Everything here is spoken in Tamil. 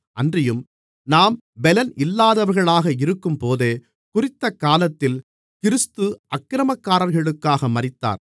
அன்றியும் நாம் பெலன் இல்லாதவர்களாக இருக்கும்போதே குறித்தக் காலத்தில் கிறிஸ்து அக்கிரமக்காரர்களுக்காக மரித்தார்